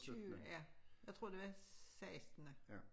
Tyve ja jeg tror det var sekstende